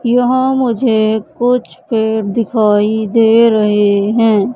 यह मुझे कुछ पेड़ दिखाई दे रहे हैं।